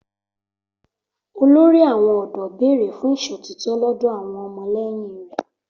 Olórí àwọn ọ̀dọ́ béèrè fún ìṣòtítọ́ lọ́dọ̀ àwọn ọmọlẹ́yìn rẹ̀